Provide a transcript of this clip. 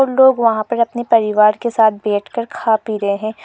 लोग वहां पर अपने परिवार के साथ बैठकर खा पी रहे हैं।